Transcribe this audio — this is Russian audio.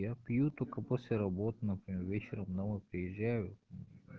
я пью только после работы например вечером домой приезжаю